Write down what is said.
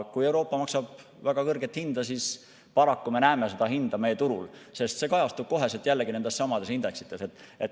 Kui Euroopa maksab väga kõrget hinda, siis paraku me näeme seda hinda meie turul, sest see kajastub kohe jällegi nendessamades indeksites.